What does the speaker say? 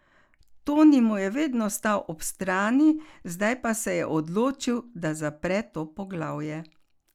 Toni mu je vedno stal ob strani, zdaj pa se je odločil, da zapre to poglavje.